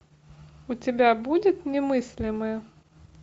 у тебя будет немыслимое